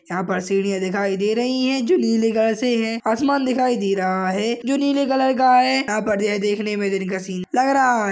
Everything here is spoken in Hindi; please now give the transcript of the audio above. यहाँ पर सीढ़ियाँ दिखाई दे रही है जो नीले कलर से है आसमान दिखाई दे रहा है जो नीले कलर का है यहाँ पर यह देखने में जिनका सीन लग रहा हैं।